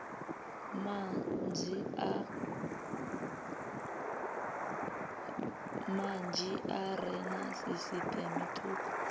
manzhi are na sisiṱeme thukhu